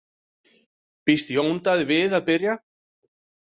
Býst Jón Daði við að byrja?